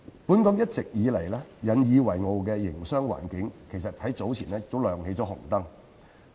本港一直引以為傲的營商環境早前再次亮起警號。